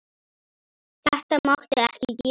Þetta máttu ekki gera.